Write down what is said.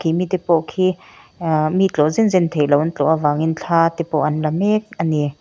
mi te pawh khi aa mi tlawh zen zen theihloh an tlawh avangin thla te pawh an la mek a ni.